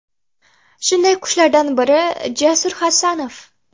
Shunday qushlardan biri Jasur Hasanov .